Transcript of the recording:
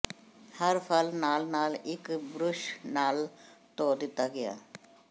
ਹਰ ਫਲ ਨਾਲ ਨਾਲ ਇੱਕ ਬੁਰਸ਼ ਨਾਲ ਧੋ ਦਿੱਤਾ ਗਿਆ